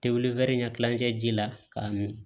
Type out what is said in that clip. Tewuli wɛri ɲɛ kilancɛ ji la k'a min